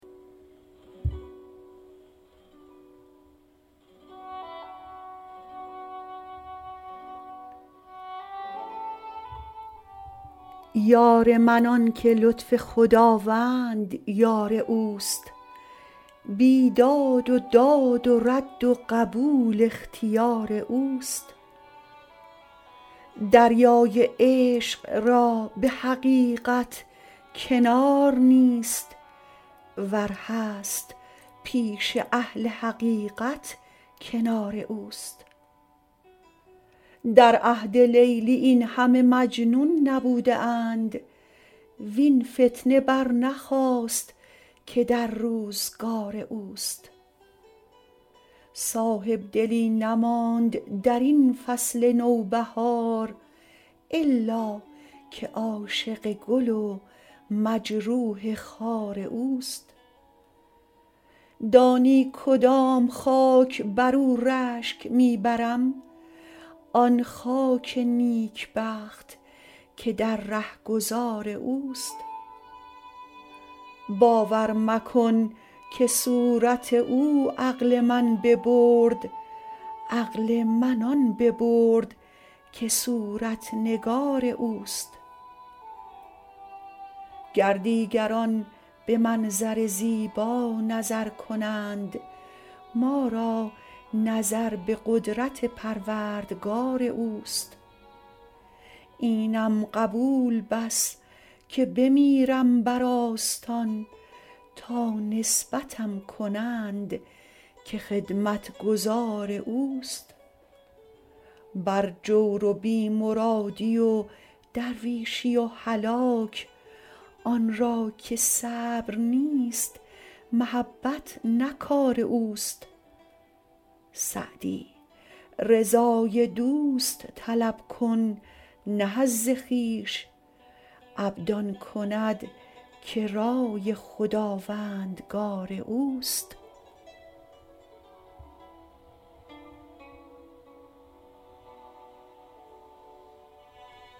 یار من آن که لطف خداوند یار اوست بیداد و داد و رد و قبول اختیار اوست دریای عشق را به حقیقت کنار نیست ور هست پیش اهل حقیقت کنار اوست در عهد لیلی این همه مجنون نبوده اند وین فتنه برنخاست که در روزگار اوست صاحبدلی نماند در این فصل نوبهار الا که عاشق گل و مجروح خار اوست دانی کدام خاک بر او رشک می برم آن خاک نیکبخت که در رهگذار اوست باور مکن که صورت او عقل من ببرد عقل من آن ببرد که صورت نگار اوست گر دیگران به منظر زیبا نظر کنند ما را نظر به قدرت پروردگار اوست اینم قبول بس که بمیرم بر آستان تا نسبتم کنند که خدمتگزار اوست بر جور و بی مرادی و درویشی و هلاک آن را که صبر نیست محبت نه کار اوست سعدی رضای دوست طلب کن نه حظ خویش عبد آن کند که رای خداوندگار اوست